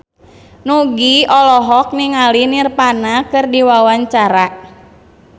Nugie olohok ningali Nirvana keur diwawancara